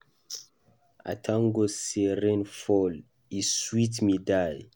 I thank God say rain fall. E sweet me die.